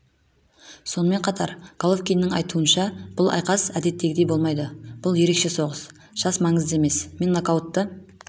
сонымен қатар головкиннің айтуынша бұл айқас әдеттегідей болмайды бұл ерекше соғыс жас маңызды емес мен нокаутты